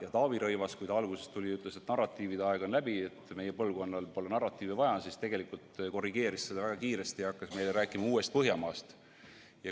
Ja Taavi Rõivas, kes alguses tuli ja ütles, et narratiivide aeg on läbi, meie põlvkonnal pole narratiivi vaja, korrigeeris seda tegelikult väga kiiresti ja hakkas meile rääkima uuest Põhjamaast.